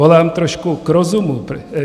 Volám trošku k rozumu.